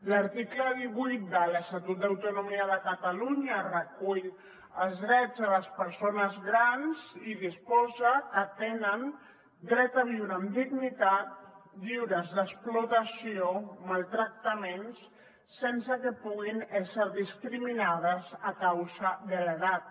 l’article divuit de l’estatut d’autonomia de catalunya recull els drets de les persones grans i disposa que tenen dret a viure amb dignitat lliures d’explotació maltractaments sense que puguin ésser discriminades a causa de l’edat